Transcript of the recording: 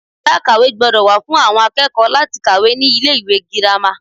Yàrá ìkàwé gbódò wà fún àwon akékòó láti kàwé ní ilé ìwé girama